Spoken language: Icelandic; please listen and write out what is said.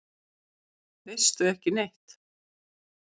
Veistu ekki neitt?